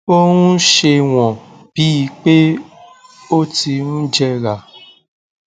ó ń ṣe wọn bí i pé ó ti ń jẹrà